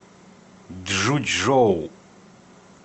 чжучжоу